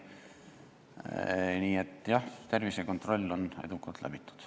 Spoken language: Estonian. Nii et tervisekontroll on teil edukalt läbitud.